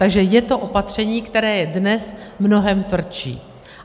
Takže je to opatření, které je dnes mnohem tvrdší.